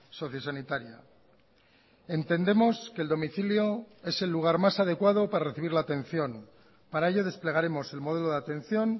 sociosanitaria entendemos que el domicilio es el lugar más adecuado para recibir la atención para ello desplegaremos el modelo de atención